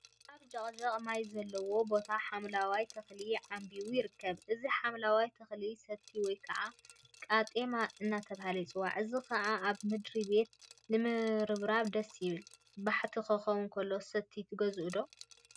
አብ ጀቅጀቅ ማይ ዘለዎ ቦታ ሓምለዋይ ተክሊ ዓምቢቡ ይርከብ፡፡ እዚ ሓምለዋይ ተክሊ ሰቲ ወይ ከዓ ቃጤማ እናተብሃለ ይፅዋዕ፡፡ እዚ ከዓ አብ ምድሪ ቤት ንምርብራብ ደስ ይብል፡፡ ባሕቲ ክኸውን ከሎ ሰቲ ትገዝኡ ዶ?